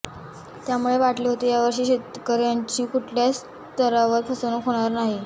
त्यामुळे वाटले होते यावर्षी तरी शेतकऱ्यांची कुठल्याच स्तरावर फसवणूक होणार नाही